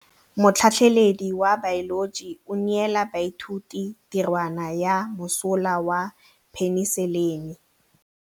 Motlhatlhaledi wa baeloji o neela baithuti tirwana ya mosola wa peniselene.